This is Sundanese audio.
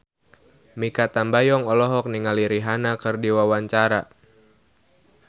Mikha Tambayong olohok ningali Rihanna keur diwawancara